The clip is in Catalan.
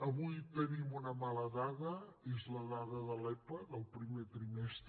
avui tenim una mala dada és la dada de l’epa del primer trimestre